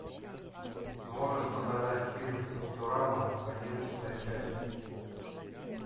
можешь показать фильм футурама одиннадцатая часть